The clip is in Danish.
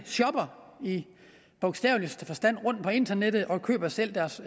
shopper i bogstaveligste forstand rundt på internettet og køber selv deres